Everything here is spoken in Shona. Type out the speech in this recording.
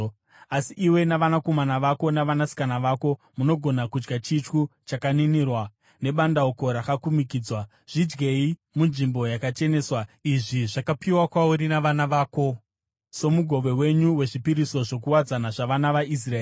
Asi iwe navanakomana vako navanasikana vako, munogona kudya chityu chakaninirwa nebandauko rakakumikidzwa. Zvidyei munzvimbo yakacheneswa; izvi zvakapiwa kwauri navana vako somugove wenyu wezvipiriso zvokuwadzana zvavana vaIsraeri.